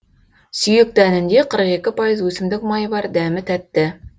сүйек дәнінде қырық екі пайыз өсімдік майы бар дәмі тәтті